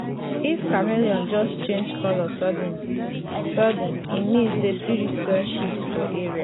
if chameleon just change colour sudden-sudden e mean say spirit don shift for area.